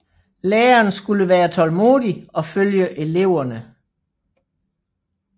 Læren skulle være tålmodig og følge eleverne